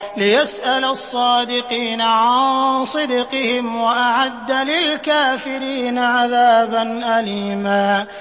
لِّيَسْأَلَ الصَّادِقِينَ عَن صِدْقِهِمْ ۚ وَأَعَدَّ لِلْكَافِرِينَ عَذَابًا أَلِيمًا